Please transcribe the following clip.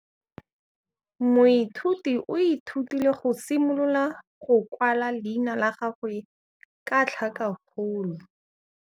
Moithuti o ithutile go simolola go kwala leina la gagwe ka tlhakakgolo.